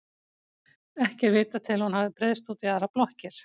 Ekki er vitað til að hún hafi breiðst út í aðrar blokkir.